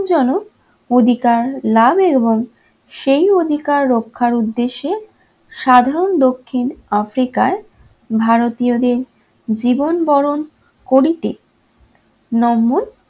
জনক অধিকার লাভের এবং সেই অধিকার রক্ষার উদ্দেশ্যে সাধারণ দক্ষিণ africa ই ভারতীয়দের জীবন বরণ করিতে নম্মন